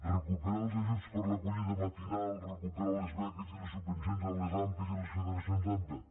recuperar els ajuts per a l’acollida matinal recuperar les beques i les subvencions a les ampa i a les federacions d’ampa